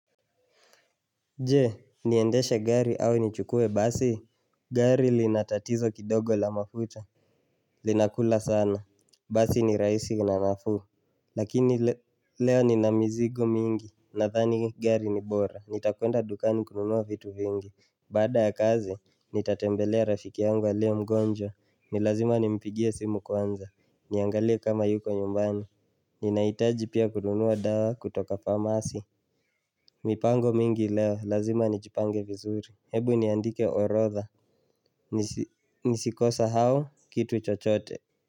Je, niendeshe gari au nichukue basi Gari linatatizo kidogo la mafuta Linakula sana, basi ni raisi na nafuu Lakini leo nina mizigo mingi nathani gari ni bora, nitakwenda dukani kununua vitu vingi baada ya kazi, nitatembelea rafiki yangu alie mgonjwa nilazima nimipigie simu kwanza niangalie kama yuko nyumbani Ninaitaji pia kununua dawa kutoka pharmacy mipango mingi leo, lazima nijipange vizuri, hebu niandike orotha Nisikosehao, kitu chochote.